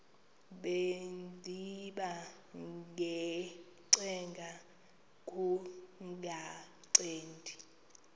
bendiba ngacenga kungancedi